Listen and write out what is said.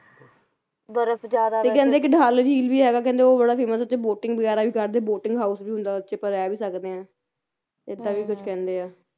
ਬਰਫ਼ ਜ਼ਿਆਦਾ ਤੇ ਕਹਿੰਦੇ ਡੱਲ ਝੀਲ ਵੀ ਹੈਗਾ ਕਹਿੰਦੇ ਉਹ ਬੜਾ famous ਆ ਉੱਥੇ boating ਵਗੈਰਾ ਵੀ ਕਰਦੇ boating house ਵੀ ਹੁੰਦਾ ਉਹ ਚ ਆਪਾ ਰਹਿ ਵੀ ਸਕਦੇ ਆ ਇਹਦਾ ਵੀ ਕੁਛ ਕਹਿੰਦੇ ਆ